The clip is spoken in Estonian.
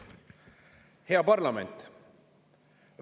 Hea parlament!